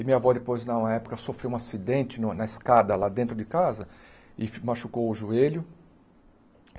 E minha avó depois, na época, sofreu um acidente no na escada lá dentro de casa e machucou o joelho.